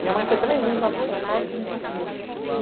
Minha mãe foi três vezes lá buscar histórico e eu não conseguia.